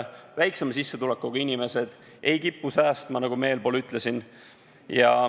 Väiksema sissetulekuga inimesed ei kipu säästma, nagu ma juba ütlesin.